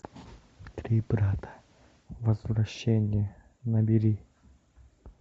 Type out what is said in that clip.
три брата возвращение набери